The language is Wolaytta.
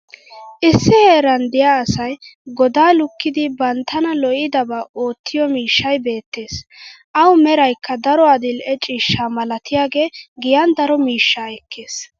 Issi heeran diya asay godaa lukkidi banttana lo'iddabaa oottiyo miishshay beetees. awu meraykka daro adil'e ciishsha malattiyagee giyan daro miishshaa ekkees.